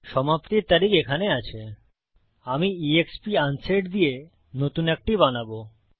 সমাপ্তির তারিখ এখানে আছে আমি এক্সপ আনসেট দিয়ে নতুন একটি বানাবো